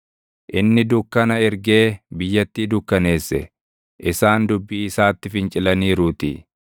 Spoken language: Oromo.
Inni dukkana ergee biyyattii dukkaneesse; isaan dubbii isaatti fincilaniiruutii.